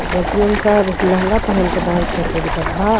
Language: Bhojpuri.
बच्चियन सब लहंगा पहन के डांस करते दिखत बा।